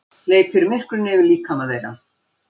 Hleypir myrkrinu yfir líkama þeirra.